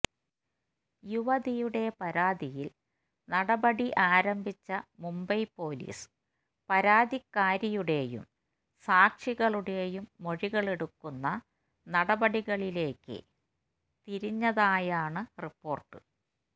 യുവതിയുടെ പരാതിയില് നടപടി ആംരഭിച്ച മുംബൈ പോലീസ് പരാതിക്കാരിയുടെയും സാക്ഷികളുടെയും മൊഴികളെടുക്കുന്ന നടപടികളിലേക്ക് തിരിഞ്ഞതായാണ് റിപ്പോര്ട്ട്